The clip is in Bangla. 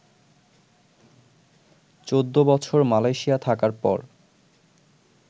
চৌদ্দ বছর মালয়শিয়া থাকার পর